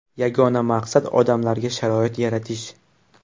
Yagona maqsad odamlarga sharoit yaratish.